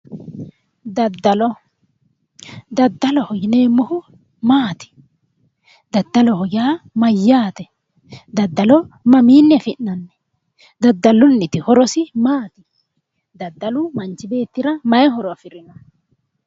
Daddalo. Daddaloho yineemohu maati? Daddaloho yaa mayyaate? Daddalo mamiini afi'nani? Daddalunit horosi maati? Daddalu manichi beetira mayi horo afirino?